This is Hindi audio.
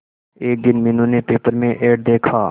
एक दिन मीनू ने पेपर में एड देखा